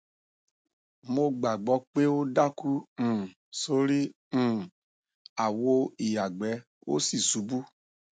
mo gbàgbo pé ó daku um sori um awo iyagbẹ ó sì ṣubú